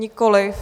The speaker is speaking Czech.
Nikoliv.